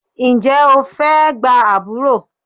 Ǹjẹ́ o fẹ́ gba àbúrò?